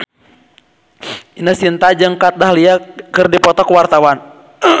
Ine Shintya jeung Kat Dahlia keur dipoto ku wartawan